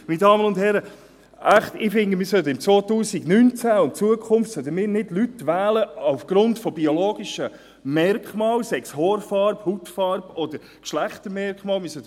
– Meine Damen und Herren, echt, ich finde, im Jahr 2019 und in Zukunft sollten wir Leute nicht aufgrund von biologischen Merkmalen wählen, sei es die Haarfarbe, die Hautfarbe oder seien es Geschlechtsmerkmale: